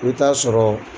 I bɛ taa sɔrɔ